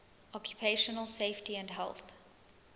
occupational safety and health